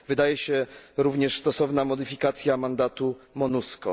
Wydaje się również stosowna modyfikacja mandatu Monusco.